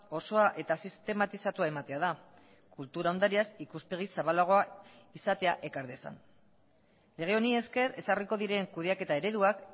osoa eta sistematizatua ematea da kultura ondareaz ikuspegi zabalagoa izatea ekar dezan lege honi esker ezarriko diren kudeaketa ereduak